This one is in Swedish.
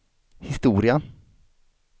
historia